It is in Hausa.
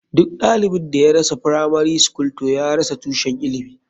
Duk ɗalibin da ya rasa firamari skul toh ya rasa tushen ilimi.